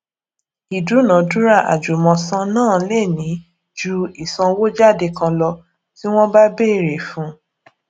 ìdúnadúrà àjùmòsan náà lè ní ju ọnà ìsànwójáde kan lọ tí wọn bá bẹrẹ fun